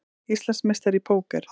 Íslandsmeistari í póker